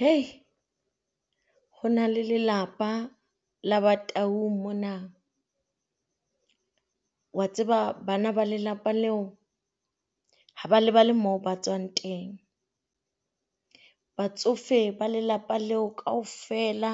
Hai! Ho na le lelapa la Bataung mona. O a tseba bana ba lelapa leo, ha ba lebale moo ba tswang teng. Batsofe ba lelapa leo kaofela